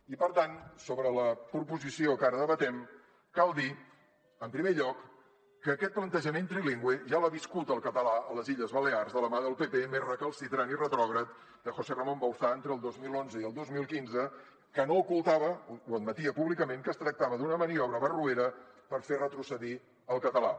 i per tant sobre la proposició que ara debatem cal dir en primer lloc que aquest plantejament trilingüe ja l’ha viscut el català a les illes balears de la mà del pp més recalcitrant i retrògrad de josé ramón bauzá entre el dos mil onze i el dos mil quinze que no ocultava ho admetia públicament que es tractava d’una maniobra barroera per fer retrocedir el català